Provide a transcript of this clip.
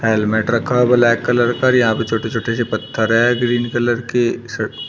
helmet रखा है black colour का और यहां पे छोटे छोटे से पत्थर है ग्रीन कलर के--